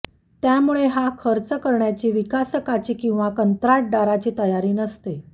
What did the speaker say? त्यामुळे हा खर्च करण्याची विकासकाची किंवा कंत्राटदाराची तयारी नसते